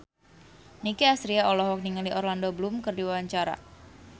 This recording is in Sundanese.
Nicky Astria olohok ningali Orlando Bloom keur diwawancara